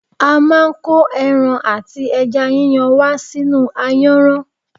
A máà ń ko ẹran ati ẹja yíyan wa sínú ayanran.